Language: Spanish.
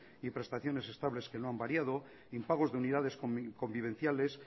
y prestaciones estables que no han variado impagos de unidades convivenciales